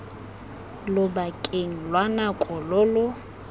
lobakeng lwa nako lo lo